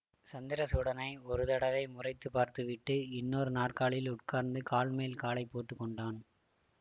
சந்திரசூடனை ஒரு தடவை முறைத்துப் பார்த்து விட்டு இன்னொரு நாற்காலியில் உட்கார்ந்து கால் மேல் காலை போட்டு கொண்டான்